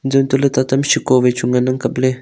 tantohley tatama seko hame chu ngan ang kapley.